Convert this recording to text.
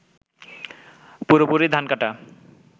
পুরোপুরি ধান কাটা